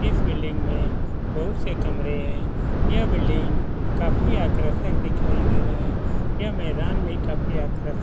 इस बिल्डिंग में बहुत से कमरे है यह बिल्डिंग काफी आकर्षक दिखाई दे रहा है यह मैदान भी काफी आकर्षक --